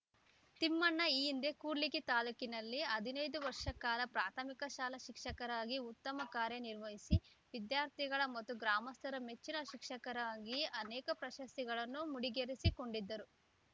ತಿಮ್ಮಣ್ಣ ಈ ಹಿಂದೆ ಕೂಡ್ಲಿಗಿ ತಾಲೂಕಿನಲ್ಲಿ ಹದನೈದು ವರ್ಷ ಕಾಲ ಪ್ರಾಥಮಿಕ ಶಾಲಾ ಶಿಕ್ಷಕರಾಗಿ ಉತ್ತಮ ಕಾರ್ಯನಿರ್ವಹಿಸಿ ವಿದ್ಯಾರ್ಥಿಗಳ ಮತ್ತು ಗ್ರಾಮಸ್ಥರ ಮೆಚ್ಚಿನ ಶಿಕ್ಷಕರಾಗಿ ಅನೇಕ ಪ್ರಶಸ್ತಿಗಳನ್ನು ಮುಡಿಗೇರಿಸಿಕೊಂಡಿದ್ದರು